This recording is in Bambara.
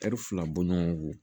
fila bɔɲɔgo